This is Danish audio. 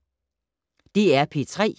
DR P3